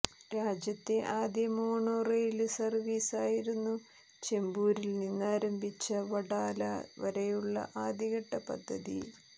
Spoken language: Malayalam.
രാജ്യത്തെ ആദ്യ മോണോ റെയില് സർവീസായിരുന്നു ചെമ്പൂരിൽ നിന്നാരംഭിച്ച വഡാല വരെയുള്ള ആദ്യഘട്ട പദ്ധതി